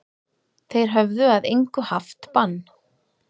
Þeir höfðu að engu haft bann